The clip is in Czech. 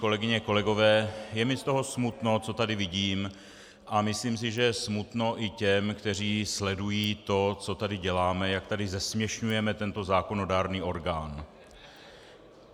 Kolegyně, kolegové, je mi z toho smutno, co tady vidím, a myslím si, že je smutno i těm, kteří sledují to, co tady děláme, jak tady zesměšňujeme tento zákonodárný orgán.